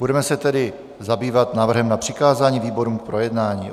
Budeme se tedy zabývat návrhem na přikázání výborům k projednání.